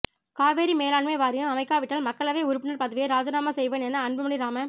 காவிரி மேலாண்மை வாரியம் அமைக்காவிட்டால் மக்களவை உறுப்பினர் பதவியை இராஜினாமா செய்வேன் என அன்புமணி ராம